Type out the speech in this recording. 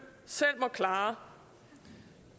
selv må klare